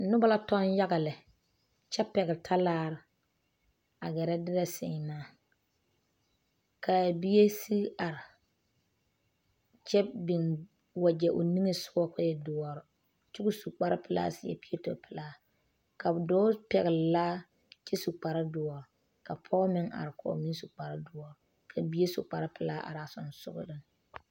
Noba la toŋ yaga lɛ kyɛ ponne ta laare, a geɛre derɛ semaa kaa bie sige are kyɛ biŋ wagyɛ o niŋɛ sɔga kɔɔ e doɔre kyɛ kɔɔ su kpare pelaa seɛ piɛto pɛlaa ka dɔɔ pɛgeli . laa kyɛ su kpar doɔre ka pɔge meŋ are. kɔɔ su kpar doɔre ka bie su pelaa are a sensɔleŋ.